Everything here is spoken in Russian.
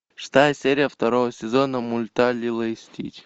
шестая серия второго сезона мульта лило и стич